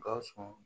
Gawusu